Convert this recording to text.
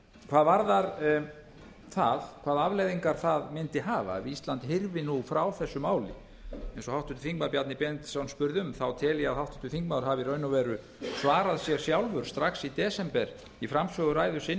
hvað varðar það hvaða afleiðingar það mundi hafa ef ísland hyrfi nú frá þessu máli eins og háttvirtur þingmaður bjarni benediktsson spurði um þá tel ég að háttvirtur þingmaður hafi í raun og veru svarað sér sjálfur strax í desember í framsöguræðu sinni